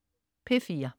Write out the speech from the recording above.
P4: